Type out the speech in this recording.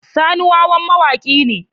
Sani wawan mawaki ne.